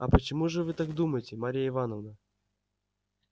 а почему же вы так думаете марья ивановна